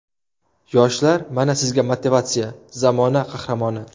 Yoshlar, mana sizga motivatsiya, zamona qahramoni.